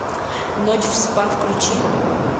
ночь в спа включи